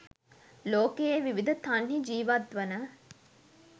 ලෝකයේ විවිධ තන්හි ජීවත්වන